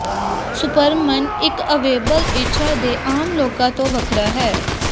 superman ਇੱਕ ਅਵਿਬਲ ਇੱਛਾ ਦੇ ਆਮ ਲੋਕਾਂ ਤੋਂ ਵੱਖਰਾ ਹੈ